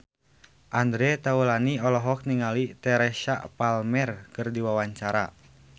Andre Taulany olohok ningali Teresa Palmer keur diwawancara